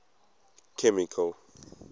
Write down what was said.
chemical